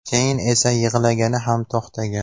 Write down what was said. Keyin esa yig‘lagani ham to‘xtagan.